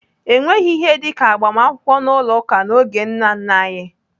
Enweghị ihe dịka agbamakwụkwọ n'ụlọ ụka n'oge nna nna anyị.